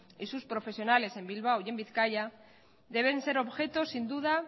y sus profesionales en bilbao y en bizkaia deben ser objeto sin duda